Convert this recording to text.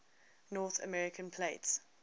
north american plate